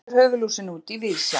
svona lítur höfuðlúsin út í víðsjá